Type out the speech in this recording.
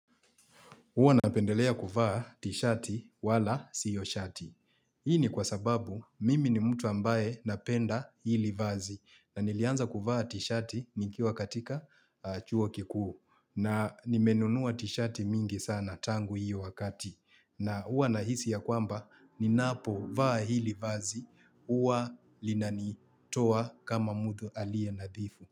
Huwa napendelea kuvaa tishati wala sio shati. Hii ni kwa sababu mimi ni mtu ambaye napenda hili vazi na nilianza kuvaa tishati nikiwa katika chuo kikuu na nimenunua tishati mingi sana tangu hiyo wakati na huwa nahisi ya kwamba ninapo vaa hili vazi huwa linanitoa kama mtu aliye nadhifu.